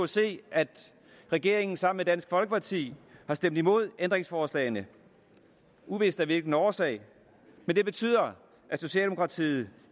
set at regeringen sammen med dansk folkeparti har stemt imod ændringsforslagene uvist af hvilken årsag men det betyder at socialdemokratiet